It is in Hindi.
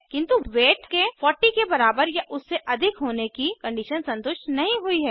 किन्तु वेट के 40 के बराबर या उससे अधिक होने की कंडीशन संतुष्ट नहीं हुई है